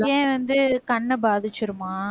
ஏன் வந்து கண்ண பாதிச்சிருமா